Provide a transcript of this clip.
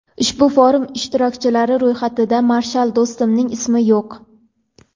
ushbu forum ishtirokchilari ro‘yxatida Marshal Do‘stumning ismi yo‘q.